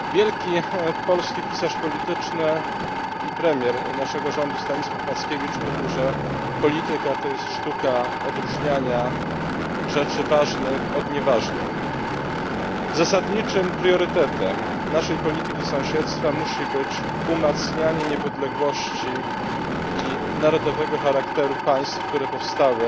Panie Przewodniczący! Wielki polski pisarz polityczny i premier naszego rządu Stanisław Mackiewicz mówił, że polityka to jest sztuka odróżniania rzeczy ważnych od nieważnych. Zasadniczym priorytetem naszej polityki sąsiedztwa musi być umacnianie niepodległości i narodowego charakteru państw, które powstały